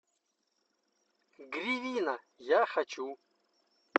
гривина я хочу